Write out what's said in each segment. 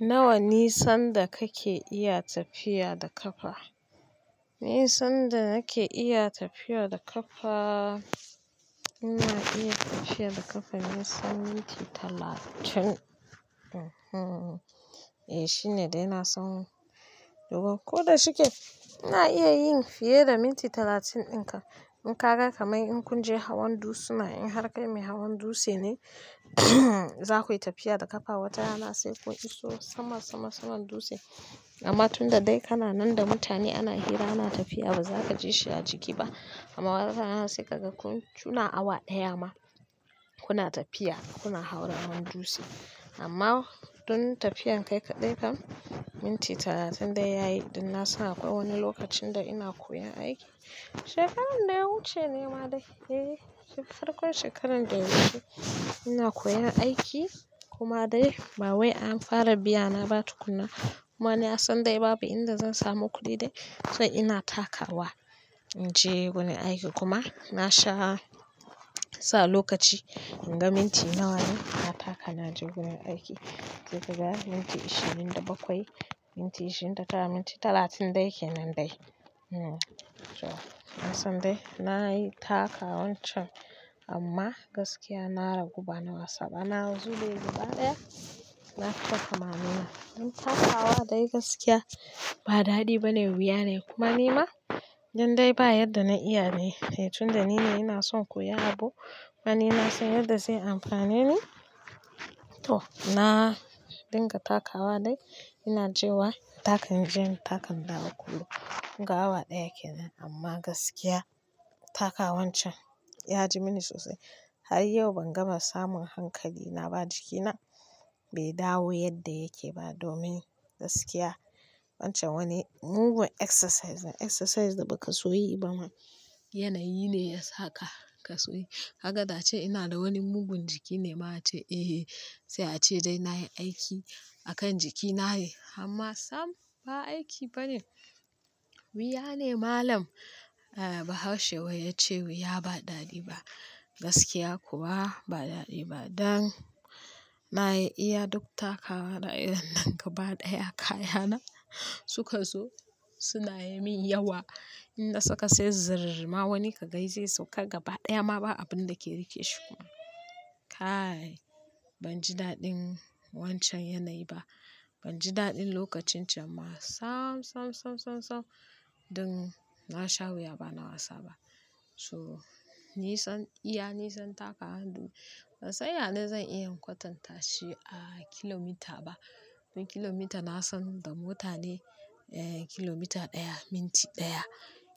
Nawa nisan da kake iya tafiya da ƙafa? Nisan da nake iya tafiya da ƙafa, ina iya tafiya da ƙafa na tsawan minti talatin. E, shine dai na san. Duk ko da shike, ina iya yin fiye da minti talatin ɗin kam. In ka ga kamar in kun je hawan dutsuna, in har kai mai hawan dutse ne, za ku yi tafiya da ƙafa wata rana sai kun iso sama saman saman dutse. Amma tunda dai kana nan da mutane ana hira ana tafiya ba zaka ji shi a jiki ba. Amma wata rana sai ka ga kun, kuna awa ɗaya ma kuna tafiya kuna hawa hawan dutse. Amma tun tafiyar kai kaɗai kan minti talatin dai ya yi, din na san akwai wani lokacin da ina koyan aiki. Shekarar da ya wuce ne ma dai, eh farkon shekarar da ya wuce ina koyan aiki kuma dai bawai an fara biya na ba tukunna. Kuma ni na san dai babu inda zan samu kuɗi dai so ina takawa in je wurin aiki kuma na sha sa lokaci in ga minti nawa ne na taka na je gurin aiki. Gaba ɗaya minti ashirin da bakwai, minti ashirin da tara, minti talatin dai kenan dai. To, na san dai na yi takawan can amma gaskiya na ragu bana wasa ba. Ba, na zuɓe gaba ɗaya, na taka ma nima. In takawa dai gaskiya ba daɗi bane wuya nez kuma nima dan dai ba yanda na iya ne. Tunda ni ne ina son in koya abu kuma ni na san yanda zai amfane ni. To, na dinga takawa dai ina je wa, in taka in je in taka in dawo kullum. Kun ga awa ɗaya kenan amma gaskiya takawan can ya ji mini sosai. Har yau ban gama samun hankali na ba, jikina bai dawo yadda yake ba domin gaskiya wancan wani mugun exercise ne. Exercise da ba ka so yi ba ma yanayi ne ya sa ka, ka so yi. Ka ga da ace ina da wani mugun jiki ne ma a ce eh sai a ce dai na yi aiki a kan jiki na ne, amma sam ba aiki bane wuya ne malam. Ah, bahaushe yace wai yace wai wuya ba daɗi ba, gaskiya kuwa ba daɗi ba, dan nayi iya duk takawa na inda gaba ɗaya kayana suka zo suna yi min yawa. In na saka sai zir, ma wani ka gan zai sauka gaba ɗaya ma ba abin da ke riƙe shi kuma. Kai ban ji daɗin wancan yanayi ba. Ban ji daɗin lokacin can ba sam, sam, sam, sam, sam. Dun na sha wuya ba na wasa ba. To, nisan, iya nisan tawan dai ban san yane zan iya in kwatanta shi a kilomita ba. Kilomita na san in da mota ne eh kilomita ɗaya minti ɗaya.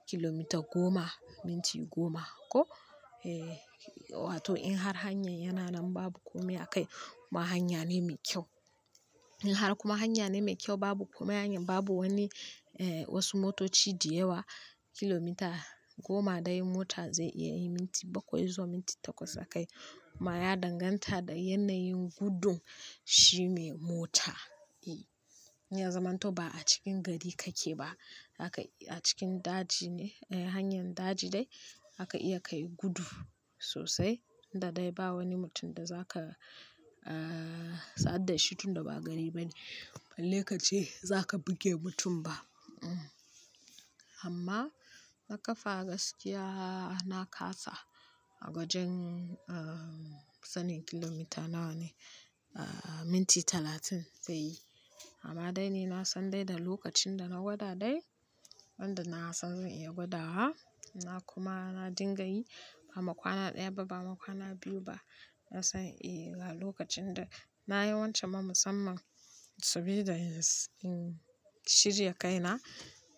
Kilomita goma minti goma ko? Eh wato in har hanyar yana nan babu komai a kai kuma hanya ne mai kyau. In har kuma hanya ne mai kyau babu komai hanyar babu wani eh wasu motoci da yawa kilomita goma dai mota zai iya yi minti bakwai zuwa minti takwas a kai. Ma ya danganta da yanayin gudun shi mai mota. E, in ya zamanto ba a cikin gari kake ba, zaka, a cikin daji ne. Hanyar daji dai zaka iya kai gudu sosai. Tunda dai ba wani mutum da zaka ah sadu da shi tunda ba gari bane. Balle ka ce zaka buge mutum ba. Amma na ƙafa gaskiya na kasa a gwajin ah sanin kilomita nawa ne ah minti talatin zai yi. Amma dai ni na san dai da lokacin da na gwada dai wanda na san zan iya gwada wa na kuma na dinga yi ba ma kwana ɗaya ba ba ma kwana biyu ba. Na san eh ga lokacin da na yi wancan ma musamman sabida in shirya kaina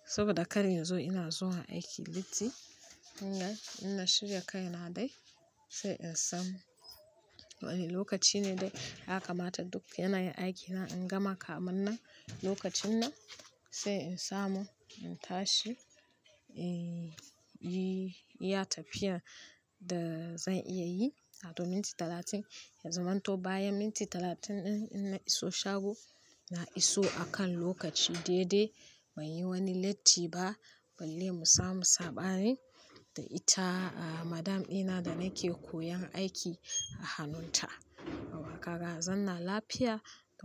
saboda kar in zo ina zuwa aiki latti. In na, in na shirya kaina dai sai in san wani lokaci ne dai ya kamata duk yanayin aikina in gama kamin nan lokacin nan sai in samu in tashi. In yi iya tafiyan da zan iya yi wato minti talatin ya zamanto bayan minti talatin ɗin in na iso shago, na iso a kan lokaci daidai. Ban yi wani latti ba balle mu samu saɓani da ita madam ɗina da nake koyan aiki a hannun ta. Yawwa kaga, a zanna lafiya.